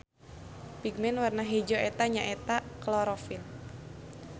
Pigmen warna hejo eta nya eta klorofil.